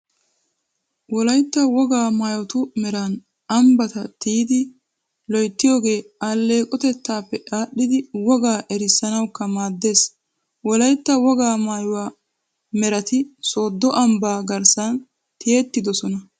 Wolaytta wogaa maayotu meran ambbata tiyidi loyttiyogee alleeqotettaappe aadhdhidi wogaa erissanawukka maaddees. Wolaytta wogaa maayuwaa merati Sooddo ambbaa garssan tiyettidosona.